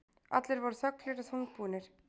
Allir voru þöglir og þungbúnir.